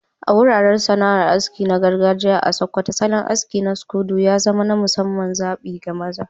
A wuraren sana'ar aski na gargajiya a Sokoto, salon aski na scodo ya zama na musamman zabi ga maza.